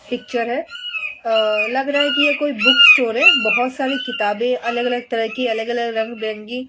Picture है। अ लग रहा है कि यह कोई बुक स्टोर है। बोहोत सारी किताबे अलग-अलग तरह की अलग-अलग रंग-बेरंगी --